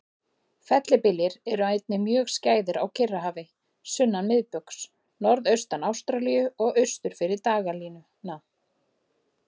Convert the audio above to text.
Fellibyljir eru einnig mjög skæðir á Kyrrahafi sunnan miðbaugs, norðaustan Ástralíu og austur fyrir dagalínuna.